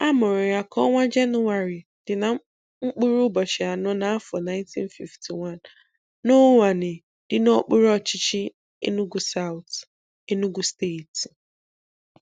A mụrụ ya ka ọnwa Jenụwarị dị na mkpụrụ ụbọchị anọ n'afọ 1951, n'Uwani dị n'okpuru ọchịchị Enugu Saụt, Enugu steeti.